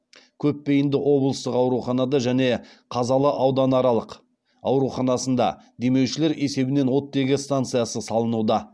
көпбейінді облыстық ауруханада және қазалы ауданаралық ауруханасында демеушілер есебінен оттегі станциясы салынуда